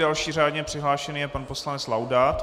Další řádně přihlášený je pan poslanec Laudát.